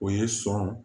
O ye sɔn